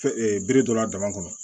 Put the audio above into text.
bere dɔ la dama kɔnɔ